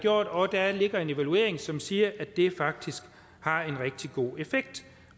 og der ligger en evaluering som siger at det faktisk har en rigtig god effekt